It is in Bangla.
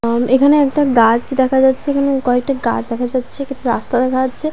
উম এখানে একটা গাছ দেখা যাচ্ছে। এখানে কয়েকটা গাছ দেখা যাচ্ছে একটি রাস্তা দেখা যাচ্ছে।